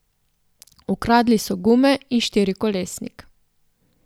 Ukradli so gume in štirikolesnik.